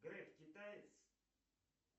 греф китаец